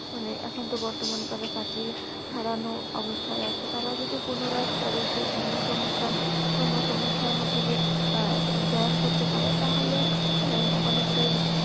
মানে এখন তো বর্তমানে তারা চাকরি হারান অবস্থায় আছে। তারা যদি পুনরায় তাদের সেই কর্মসংস্থান কর্মসংস্থানের মধ্যে যদি join করতে পারে তাহলে অনেকটাই